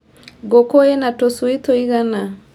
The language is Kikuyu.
Ngũkũ ina tũcui tũigana.